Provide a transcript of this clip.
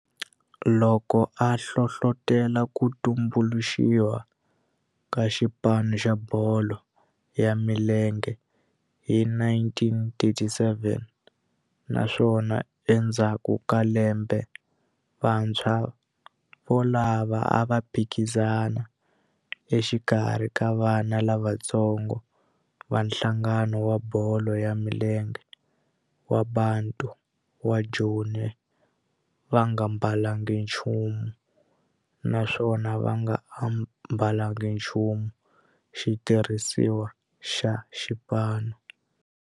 Loko a hlohlotela ku tumbuluxiwa ka xipano xa bolo ya milenge hi 1937 naswona endzhaku ka lembe vantshwa volavo a va phikizana exikarhi ka vana lavatsongo va nhlangano wa bolo ya milenge wa Bantu wa Joni va nga ambalanga nchumu naswona va nga ambalanga nchumu xitirhisiwa xa xipano.